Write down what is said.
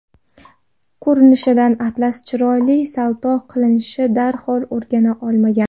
Ko‘rinishidan, Atlas chiroyli salto qilishni darhol o‘rgana olmagan.